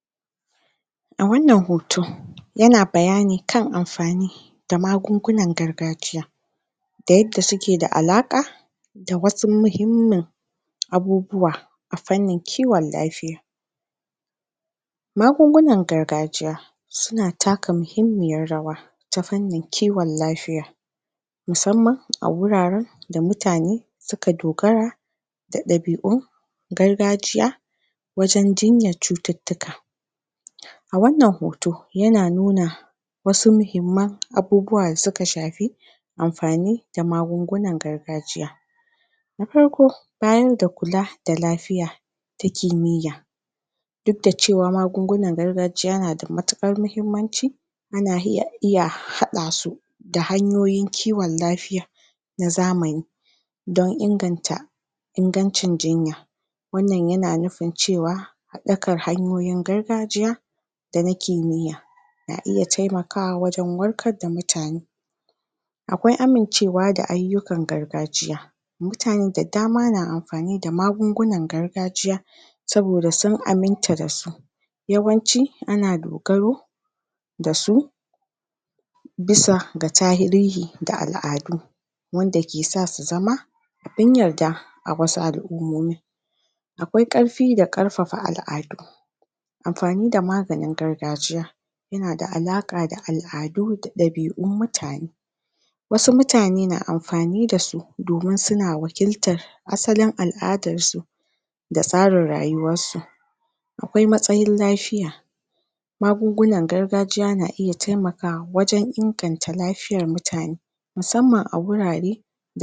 Wannan hoto mai magana yana mana bayani ne game da ta yaya mutum zai yi juriya, tare kuma da rashi a rayuwar sa. Dole ne mutum ɗan adam idan wani abu ya sameshi dole ne yayi haƙuri, yayi juriya, ta samun wani damuwa, ko kuma makamancin haka a rayuwarka. Kmar misali; idan mutum yayi rubutu na fassare-fassare na wasu littafai, ko tarihi na wasu abubuwa, sannan kuma mutum ya zo ya rasa shi, to dole ne mutum? yayi haƙuri, ya samu dangana duk da abun yana da matuƙar muhimmanci a rayuwar sa. Zai yi haƙuri yabi a hankali, jaje don ya sama kwanciyar hankalin shi da kuma lafiyar shi. Hakanan kuma mutum yana yin rashi, yana rarrasa abubuwa da dama ɗan adam, kamar misali; wani yakan rasa ƴaƴa, wani kuma ya kan rasa abu mai muhimmanci, ko dukiya ko kuma wani abu. Dole ne mutum ya haƙura, ya dangana. Wani sboda ma damuwa na rashi,? zai kasa jurewa a rayuwar sa, har yaje ya samu wani damuwa a ƙwaƙwalwan shi, ta yanda dole ne yaje ya nema shawarwari daga likitocin ƙwaƙwalwa, domin su bashi shawarwarin abunda zaiyi, su faɗa mishi kuma dokoki ta yanda zasu bi don su magance abun. Kuma dole? zasu faɗa mishi kamar misali; ya rinƙa riƙe damuwa, kuma ya rinƙaa sa ma a jikin shi ƙarfi da dagewa, a kan eh zai iya, kuma ya daina sa rauni a duk wani al'amurarsa, da kuma? kyawawan ayyuka. Duk zasu bashi dama domin kawar da wannan rauni, da yake ji,? da kuma ƙarfin zuciyarsa, ta yanda zai ji daɗi a jikin shi, har zuciyan shi. Idan kayi hakan, zaka cimma duk wani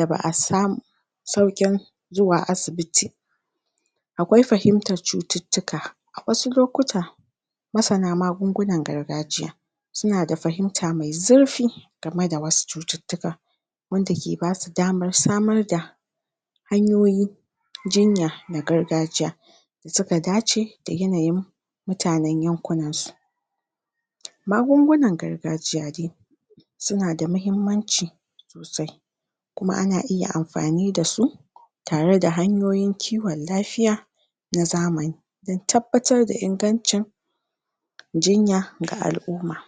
abinda kake so.